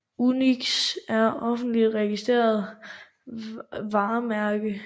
UNIX er det officielle registrerede varemærke